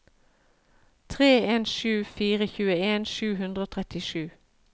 tre en sju fire tjueen sju hundre og trettisju